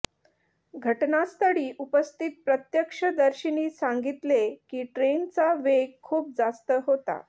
घटनास्थळी उपस्थित प्रत्यक्षदर्शींनी सांगितले की ट्रेनचा वेग खूप जास्त होता